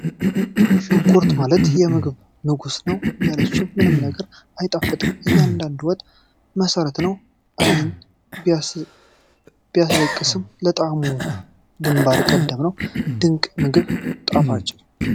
ሽንኩርት ማለት የምግብ ንጉስ ነው! ያለሱ ምንም ነገር አይጣፍጥም፤ የእያንዳንዱን ወጥ መሰረት ነው። ዓይን ቢያስለቅስም፣ ለጣዕሙ ግንባር ቀደም ነው። ድንቅ የምግብ አጣፋጭ!